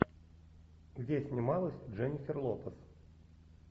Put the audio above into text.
где снималась дженнифер лопес